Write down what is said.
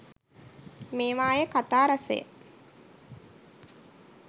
මේවායේ කතා රසය